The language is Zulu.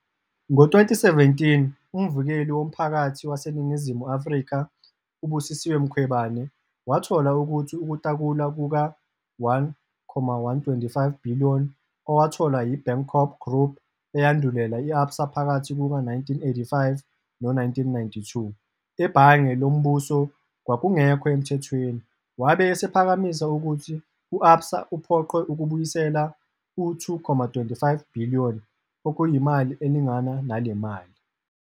Ngo-2017, uMvikeli woMphakathi waseNingizimu Afrika, u- Busisiwe Mkhwebane, wathola ukuthi ukutakulwa kuka-R1.125 billion owatholwa yi-Bankorp Group eyandulela i-Absa phakathi kuka-1985 no-1992 eBhange loMbuso kwakungekho emthethweni, wabe esephakamisa ukuthi u-Absa uphoqwe ukubuyisela u-R2. 25 billion, okuyimali elingana nale mali.